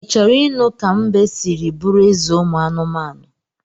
I choro inu ka mbe siri buru eze umu anumanu?